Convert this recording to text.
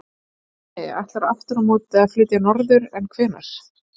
Bjarni ætlar aftur á móti að flytja norður, en hvenær?